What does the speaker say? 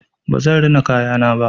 Ba zan rina kayana ba.